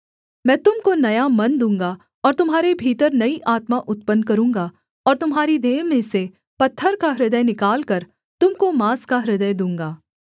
मैं तुम को नया मन दूँगा और तुम्हारे भीतर नई आत्मा उत्पन्न करूँगा और तुम्हारी देह में से पत्थर का हृदय निकालकर तुम को माँस का हृदय दूँगा